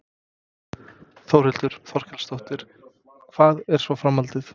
Þórhildur Þorkelsdóttir: Hvað er svo framhaldið?